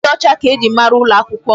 Ịdị ọcha ka eji mara ụlọ akwụkwọ m.